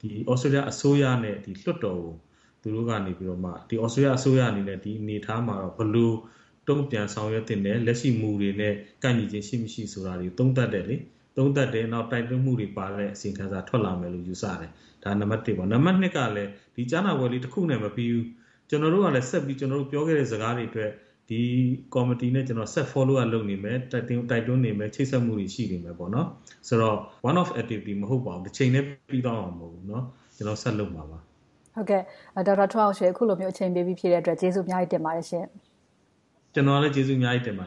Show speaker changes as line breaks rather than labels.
တေးလျအစိုးရနဲ့ လွှတ်တော်ကို သူတို့က သြစတေးလျအစိုးရအနေနဲ့ ဒီအနေအထားမှာ ဘယ်လိုတုံ့ပြန်ဆောင်ရွက်သင့်တယ်။ လက်ရှိ မူတွေနဲ့ ကိုက်ညီခြင်း ရှိမရှိဆိုတာတွေကို သုံးသပ်တယ်။ နောက် တိုက်တွန်းမှုတွေပါတဲ့ အစီရင်ခံစာ ထွက်လာမယ်လို့ ယူဆတယ်။ ဒါက နံပတ် ။ နံပတ် က ဒီကြားနာပွဲလေးတခုနဲ့ မပြီဘူး။ ကျနော်တို့ကလဲ ကျနော်တို့ ပြောခဲ့တဲ့ စကားတွေအတွက် ဒီကော်မတီနဲ့ ကျနော်တို့ ဆက်ပြီးတော့ Follow up လုပ်နေမယ်။ တိုက်တွန်းနေမယ်။ ချိတ်ဆက်မှုတွေ ရှိနေမယ်ဆိုတော့ One of activities မဟုတ်ပါဘူး။ တချိန်တည်း ပြီးသွားမှာ မဟုတ်ပါဘူး။ ကျနော်တို့ ဆက်လုပ်နေမှာပါ။
ဒေါက်တာထွန်းအောင်ရွှေ အခုလို အချိန်ပေးပြီး ဖြေပေးတဲ့အတွက် ကျေးဇူးအများကြီး တင်ပါတယ်ရှင့်။
ကျနော်ကလည်း ကျေးဇူးအများကြီး တင်ပါတယ်